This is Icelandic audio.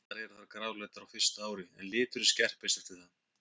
Allar eru þær gráleitar á fyrsta ári en liturinn skerpist eftir það.